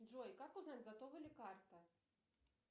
джой как узнать готова ли карта